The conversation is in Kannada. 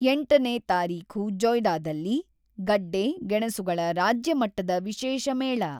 ಎಂಟನೇ ತಾರೀಖು ಜೊಯ್ದಾದಲ್ಲಿ, ಗಡ್ಡೆ, ಗೆಣಸುಗಳ ರಾಜ್ಯ ಮಟ್ಟದ ವಿಶೇಷ ಮೇಳ.